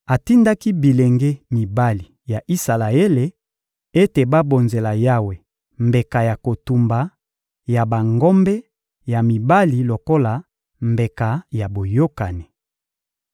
Atindaki bilenge mibali ya Isalaele ete babonzela Yawe mbeka ya kotumba ya bangombe ya mibali lokola mbeka ya boyokani.